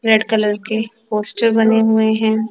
Red colour की poster बने हुए हैं।